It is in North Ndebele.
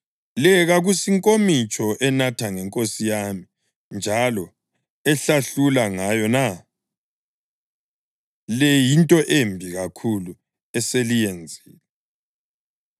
Le kakusinkomitsho enatha ngenkosi yami njalo ehlahlula ngayo na? Le yinto embi kakhulu eseliyenzile!’ ”